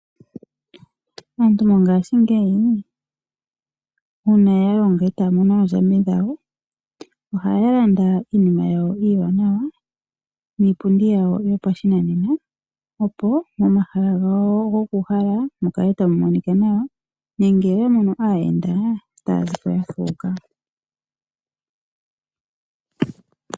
Aantu mongaashingeyi uuna ya longa e taya mono oondjambi dhawo, ohaya landa iinima yawo iiwaanawa niipundi yawo yopashinanena, opo momahala gawo goku uhala mu kale tamu monika nawa nenge oya mono aayenda otaya ziko ya fuuka.